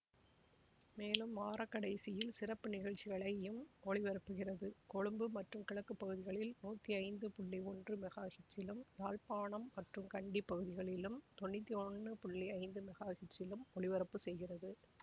மேலும் வார கடைசியில் சிறப்பு நிகழ்ச்சிகளையும் ஒளிபரப்புகிறது கொழும்பு மற்றும் கிழக்கு பகுதிகளில் நூற்றி ஐந்து புள்ளி ஒன்று மெகா ஹெர்ட்சிலும் யாழ்ப்பாணம் மற்றும் கண்டி பகுதிகளிலும் தொண்ணுற்றி ஒன்று புள்ளி ஐந்து மெகா ஹெர்ட்சிலும் ஒலிபரப்பு செய்கிறது